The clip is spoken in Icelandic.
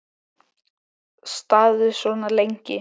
Staðið svona lengi?